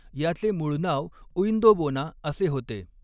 याचे मूळ नाव उइंदोबोना असे होते.